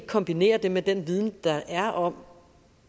kombinerer det med den viden der er om